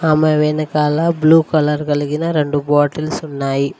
అమ్మాయ్ వెనకాల blue colour కలిగిన రెండు బాటిల్స్ ఉన్నాయి.